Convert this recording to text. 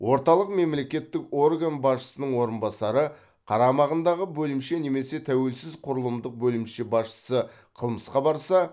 орталық мемлекеттік орган басшысының орынбасары қарамағындағы бөлімше немесе тәуелсіз құрылымдық бөлімше басшысы қылмысқа барса